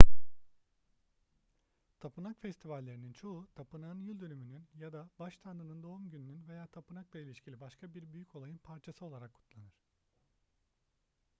tapınak festivallerinin çoğu tapınağın yıldönümünün ya da baş tanrının doğum gününün veya tapınakla ilişkili başka bir büyük olayın parçası olarak kutlanır